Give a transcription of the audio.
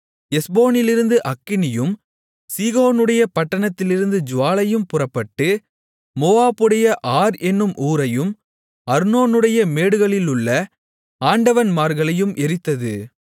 எஸ்போனிலிருந்து அக்கினியும் சீகோனுடைய பட்டணத்திலிருந்து ஜூவாலையும் புறப்பட்டு மோவாபுடைய ஆர் என்னும் ஊரையும் அர்னோனுடைய மேடுகளிலுள்ள ஆண்டவன்மார்களையும் எரித்தது